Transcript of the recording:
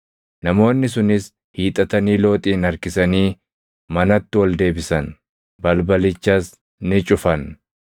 Namoonni sunis hiixatanii Looxin harkisanii manatti ol deebisan; balbalichas ni cufan.